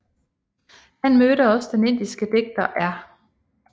Han mødte også den indiske digter R